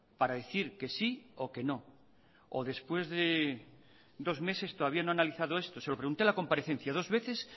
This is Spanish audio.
para decir que sí o que no o después de dos meses todavía no ha analizado esto se lo pregunté en la comparecencia dos veces